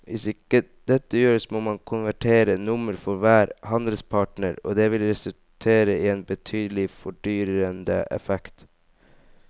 Hvis ikke dette gjøres må man konvertere nummer for hver handelspartner og det vil resultere i en betydelig fordyrende effekt.